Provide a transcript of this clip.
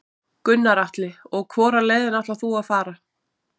Gunnar Atli: Og hvora leiðina ætlar þú að fara?